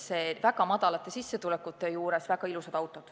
Ka madalate sissetulekute korral on meil väga ilusad autod.